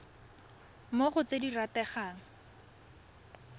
mo go tse di rategang